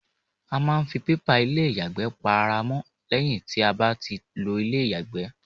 A máa ń ń fi pépà ilé ìyàgbẹ́ pa ara mọ́ lẹ́yìn tí a bá ti lo ilé ìyàgbẹ́.